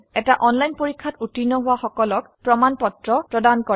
online পৰীক্ষা pass কৰলে প্ৰশংসাপত্ৰ দেওয়া হয়